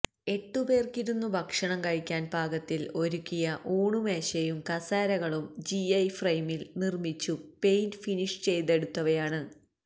എട്ടുപേർക്കിരുന്നു ഭക്ഷണം കഴിക്കാൻ പാകത്തിൽ ഒരുക്കിയ ഊണുമേശയും കസേരകളും ജിഐ ഫ്രയിമിൽ നിർമിച്ചു പെയിന്റ് ഫിനിഷ് ചെയ്തെടുത്തവയാണ്